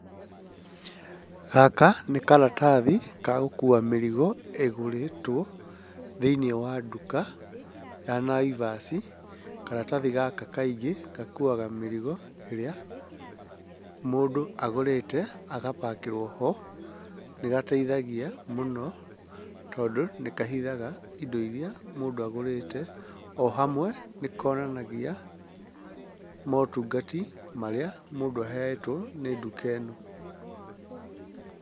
Gaka nĩ karatathi ga gũkua mĩrigo ĩgũrĩtwo thĩiniĩ wa nduka ya nNaivas. Karatathi gaka kaingĩ gakuaga mĩrigo ĩrĩa mũndũ agũrĩte agabakĩrwo ho. Nĩgateithagia mũno tondũ nĩkahithaga indo iria mũndũ agũrĩte, o hamwe nĩkonanagia motungati marĩa mũndũ ahetwo nĩ nduka ĩno.